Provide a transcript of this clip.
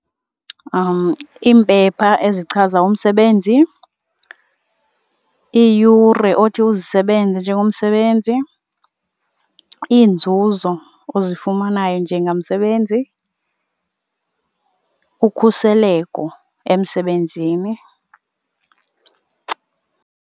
Iimpepha ezichaza umsebenzi, iiyure othi uzisebenzise njengomsebenzi, iinzuzo ozifumanayo njengamsebenzi, ukhuseleko emsebenzini.